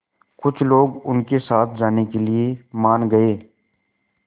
कुछ लोग उनके साथ जाने के लिए मान गए